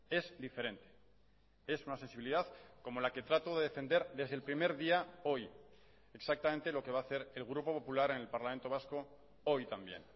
es diferente es una sensibilidad como la que trato de defender desde el primer día hoy exactamente lo que va a hacer el grupo popular en el parlamento vasco hoy también